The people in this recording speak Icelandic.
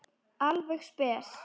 Alveg spes.